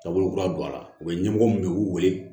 Taabolo kura don a la u bɛ ɲɛmɔgɔ min ye u b'u wele